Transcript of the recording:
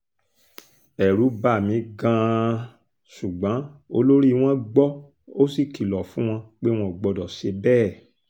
ẹ̀rù bà mí gan-an ṣùgbọ́n olórí wọn gbọ́ ó sì kìlọ̀ fún wọn pé wọn ò gbọ́dọ̀ ṣe bẹ́ẹ̀